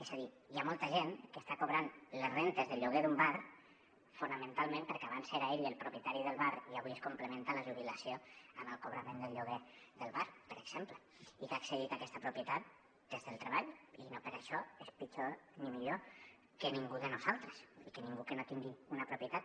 és a dir hi ha molta gent que està cobrant les rendes del lloguer d’un bar fonamentalment perquè abans era ell el propietari del bar i avui es complementa la jubilació amb el cobrament del lloguer del bar per exemple i que ha accedit a aquesta propietat des del treball i no per això és pitjor ni millor que ningú de nosaltres i que ningú que no tingui una propietat